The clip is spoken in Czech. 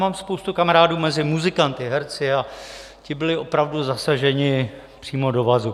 Mám spoustu kamarádů mezi muzikanty, herci a ti byli opravdu zasaženi přímo do vazu.